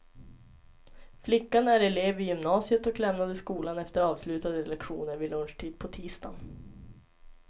Flickan är elev vid gymnasiet och lämnade skolan efter avslutade lektioner vid lunchtid på tisdagen.